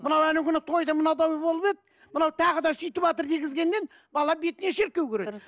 мынау анау күні тойда мына дау болып еді мынау тағы да сөйтіватыр дегізгеннен бала бетіне